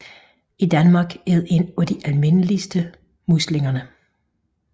I Danmark er det en af de almindeligste muslinger